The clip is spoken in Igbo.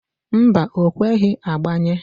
Mba, o kweghi agbanye.